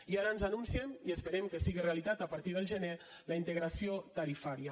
i ara ens anuncien i esperem que siga realitat a partir del gener la integració tarifària